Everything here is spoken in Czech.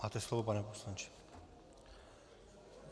Máte slovo, pane poslanče.